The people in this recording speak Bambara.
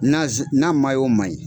Naz n'a man ɲi.